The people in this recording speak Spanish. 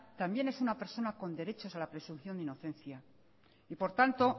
también es una persona con derechos a la presunción de inocencia y por tanto